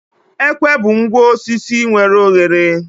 Ekwe bụ ngwa osisi nwere oghere